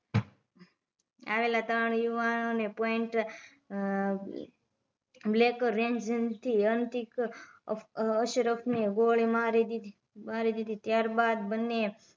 આવેલા ત્રણ યુવાનો ને પોઈન્ટ બ્લેક રેંજ થી અંતિક અશરફ ને ગોળી મારી દીધી ત્યાર બાદ બંને